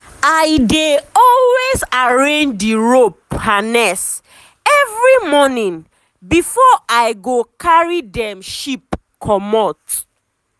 i dey always arrange the rope harness every morning before i go carry dem sheep comot.